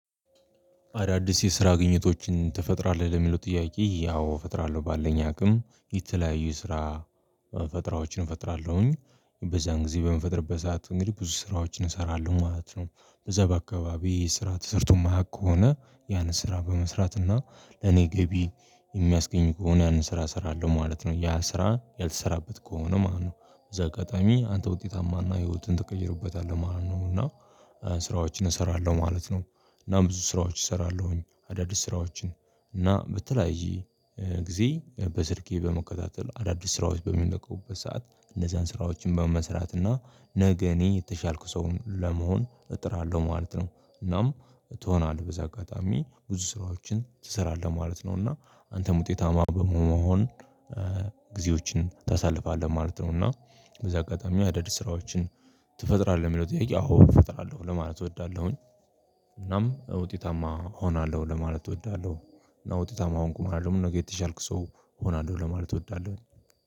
አዳዲስ የስራ ግኝቶችን ተፈጥራለህ ለሚለው ጥያቄ ያው እፈጥራለሁ ባለኝ አቅም የተለያዩ ስራ ፈጥሮችን እፈጥራለሁኝ በዛን ጊዜ በምፈጥርበት ሰዓት እንግዲህ ብዙ ስራዎችን እሰራለሁ ማለት ነው። በዛ በአካባቢ ስራ ተሰርቶማህ ከሆነ ያንን ስራ በመስራት እና ለኔ ገቢ የሚያስገኝ ከሆነ ያንን ስራ እሰራለሁ ማለት ነው ያ ስራ ያልተሰራበት ከሆነ ማለት ነው። እዛ ቀጣሚ አንተ ውጤታማና ህይወትን ተቀይሮበታል ማለት ነው እና ስራዎችን እሰራለሁ ማለት ነው። እና ብዙ ስራዎች እሰራለሁኝ አዳዲስ ስራዎችን እና በተለያየ ጊዜ በስልኬ በመከታተል አዳዲስ ስራዎች በሚነቁበት ሰዓት እነዛን ስራዎችን በመስራት እና ነገ እኔ የተሻልኩ ሰውን ለመሆን እጥራለሁ ማለት ነው። እናም ትሆናለህ በዛ አጋጣሚ ብዙ ስራዎችን ትሰራለህ ማለት ነው። እና አንተም ውጤታማ በመሆን ጊዜዎችን ታሳልፋለህ ማለት ነው። እና በዚህ አጋጣሚ ሀዳድ ስራዎችን ትፈጥራለህ የሚለው ጥያቄ አዎ እፈጥራለሁ ለማለት እወዳለሁኝ። እናም ውጤታማ እሆናለሁ ለማለት እወዳለሁ። እና ውጤታማ አሁን ቁማራለሁ ነገ የተሻልኩ ሰው እሆናለሁ ለማለት እወዳለሁ።